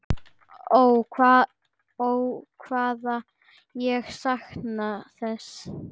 Ó hvað ég sakna þess.